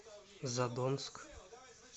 задонск